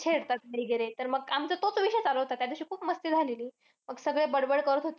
छेडतात वगैरे. तर मग आमचा तोच विषय चालू होता. त्या दिवशी खूप मस्ती झालेली. मग सगळे बडबड करत होते.